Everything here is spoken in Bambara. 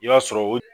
I b'a sɔrɔ o